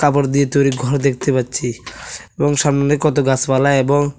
কাপড় দিয়ে তৈরি ঘর দেখতে পাচ্ছি এবং সামনে কত গাছপালা এবং--